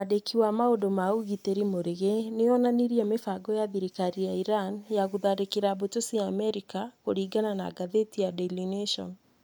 Mwandĩki wa maũndũ ma ũgitĩri Murigi nĩ onanirie mĩbango ya thirikari ya Iran ya gũtharĩkĩra mbũtũ cia Amerika, kũringana na ngathĩti ya Daily Nation.